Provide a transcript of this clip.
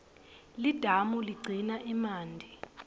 lidamu ligcina emanti